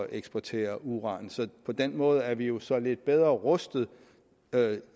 eksportere uran så på den måde er vi jo så lidt bedre rustet